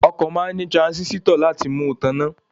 Ọkọ̀ máa ní tiransisitọ nínú láti fi mú ìtààná